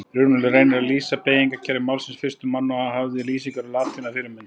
Runólfur reynir að lýsa beygingarkerfi málsins fyrstur manna og hafði lýsingar á latínu að fyrirmynd.